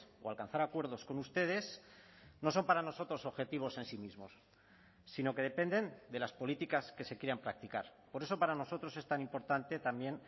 o alcanzar acuerdos con ustedes no son para nosotros objetivos en sí mismos sino que dependen de las políticas que se quieran practicar por eso para nosotros es tan importante también